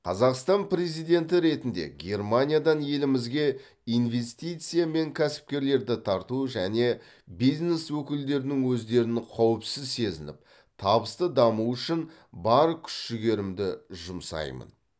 қазақстан президенті ретінде германиядан елімізге инвестиция мен кәсіпкерлерді тарту және бизнес өкілдерінің өздерін қауіпсіз сезініп табысты дамуы үшін бар күш жігерімді жұмсаймын